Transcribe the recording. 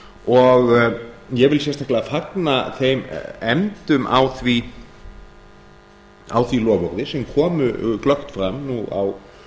og ég vil sérstaklega fagna þeim efndum á því loforði sem komu glöggt fram á